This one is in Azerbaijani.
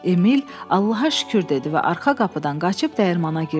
Emil Allaha şükür dedi və arxa qapıdan qaçıb dəyirmana girdi.